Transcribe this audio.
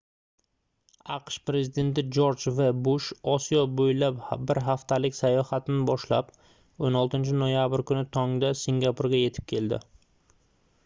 aqsh prezidenti jorj v bush osiyo boʻylab bir haftalik sayohatini boshlab 16-noyabr kuni tongda singapurga yetib keldi